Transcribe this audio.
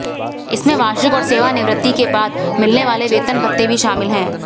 इसमें वार्षिक और सेवानिवृत्ति के बाद मिलने वाले वेतनभत्ते भी शामिल हैं